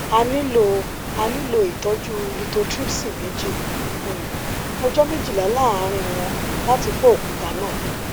a nilo a nilo itọju lithotripsy meji um ọjọ mejila laaarin wọn lati fọ okuta naa